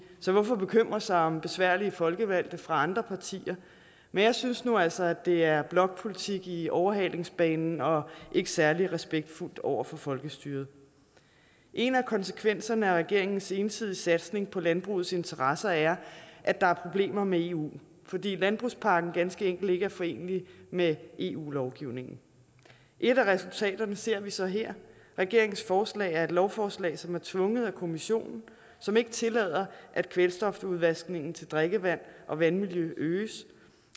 så hvorfor bekymre sig om besværlige folkevalgte fra andre partier men jeg synes nu altså at det er blokpolitik i overhalingsbanen og ikke særlig respektfuldt over for folkestyret en af konsekvenserne af regeringens ensidige satsning på landbrugets interesser er at der er problemer med eu fordi landbrugspakken ganske enkelt ikke er forenelig med eu lovgivningen et af resultaterne ser vi så her regeringens forslag er et lovforslag som er tvunget af kommissionen som ikke tillader at kvælstofudvaskningen til drikkevand og vandmiljø øges